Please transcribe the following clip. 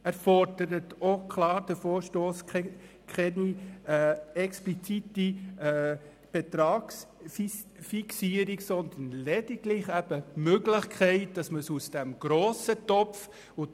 Der Vorstoss fordert auch klar keine explizite Betragsfixierung, sondern lediglich die Möglichkeit, dass man es aus diesem grossen Topf bezahlen könnte.